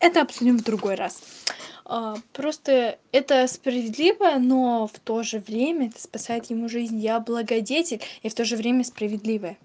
это обсудим в другой раз просто это справедливо но в тоже время это спасает ему жизнь я благодетель и в тоже время справедливая